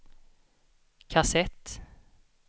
kassett